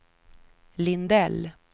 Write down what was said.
Lindell